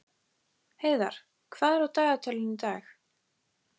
Heiðarr, hvað er á dagatalinu í dag?